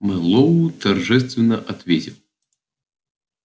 мэллоу торжественно ответил